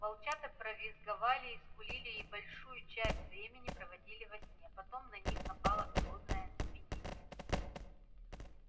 волчата повизгивали и скулили и большую часть времени проводили во сне потом на них напало голодное оцепенение